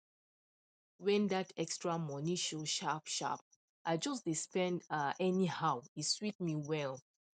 when that extra money show sharp sharp i just dey spend um anyhow e sweet me well